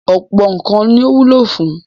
Ọ̀pọ̀ nǹkan ni ó wúlò fún.